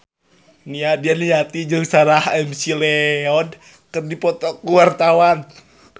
Nia Daniati jeung Sarah McLeod keur dipoto ku wartawan